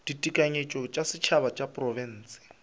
ditekanyetšo tša setšhaba tša diprofense